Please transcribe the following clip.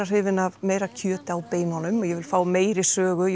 hrifin af meira kjöti á beinunum ég vil fá meiri sögu